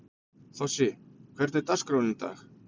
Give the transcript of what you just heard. Þossi, hvernig er dagskráin í dag?